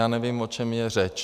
Já nevím, o čem je řeč.